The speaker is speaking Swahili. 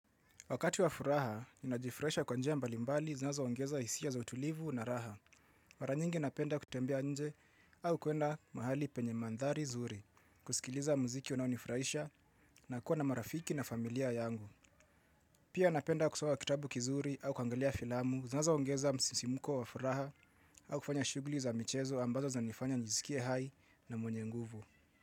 Wakati wa furaha, ninajifraisha kwa njia mbali mbali zinazoongeza isia za utulivu na raha. Mara nyingi napenda kutembea nje au kuenda mahali penye mandhari zuri. Kusikiliza muziki unaonifraisha na kuwa na marafiki na familia yangu. Pia napenda kusoma kitabu kizuri au kwangalia filamu zinazo ongeza msimuko wa furaha au kufanya shuguli za mchezo ambazo zanifanya njizikie hai na mwenye nguvu.